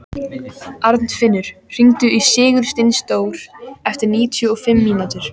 Arnfinnur, hringdu í Sigursteindór eftir níutíu og fimm mínútur.